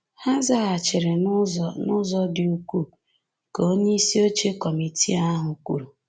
“Ha zaghachiri n’ụzọ n’ụzọ dị ukwuu, "ka onyeisi oche kọmitii ahụ kwuru.